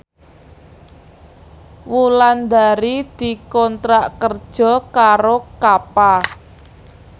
Wulandari dikontrak kerja karo Kappa